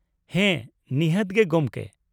ᱦᱮᱸ, ᱱᱤᱷᱟᱹᱛ ᱜᱮ ᱜᱚᱢᱠᱮ ᱾